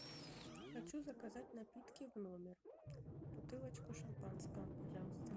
хочу заказать напитки в номер бутылочку шампанского пожалуйста